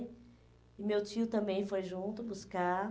E meu tio também foi junto buscar.